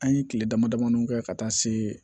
An ye kile damadamanin kɛ ka taa se